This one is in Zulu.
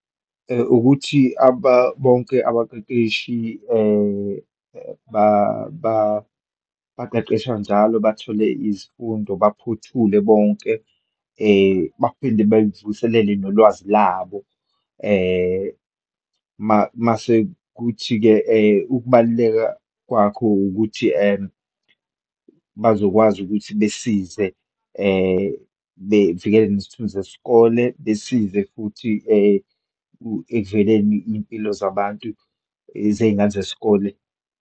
Ukuthi abantu bonke abaqeqeshi baqeqeshwa njalo bathole izifundo, baphothule bonke, baphinde bevuselele nolwazi labo. Mase kuthi-ke ukubaluleka kwakho ukuthi bazokwazi ukuthi besize, bevikele nesithunzi sesikole, besize futhi ekuvikeleni iyimpilo zabantu, zeyingane zesikole.